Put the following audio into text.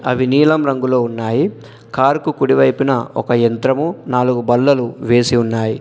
అవి నీలం రంగులో ఉన్నాయి కారు కు కుడివైపున ఒక యంత్రము నాలుగు బల్లలు వేసి ఉన్నాయి.